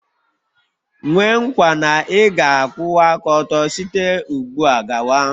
Nwee nkwa na ị ga-akwụwa aka ọtọ site ugbu a gawa?